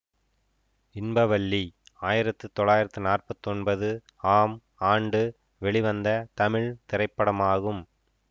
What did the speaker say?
இன்ப வல்லி ஆயிரத்தி தொள்ளாயிரத்தி நாற்பத்தி ஒன்பது ஆம் ஆண்டு வெளிவந்த தமிழ் திரைப்படமாகும்